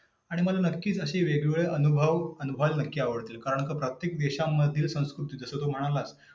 आणि मला नक्कीच अशी वेगवेगळे अनुभव अनुभवयाला नक्की आवडतील. कारण प्रत्येक देशांमधील संस्कृती जसं तू म्हणालास.